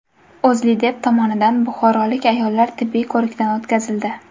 O‘zLiDeP tomonidan buxorolik ayollar tibbiy ko‘rikdan o‘tkazildi.